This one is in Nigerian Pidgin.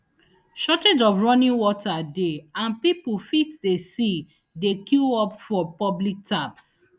shortage of running water dey and pipo fit dey see dey queue up for public taps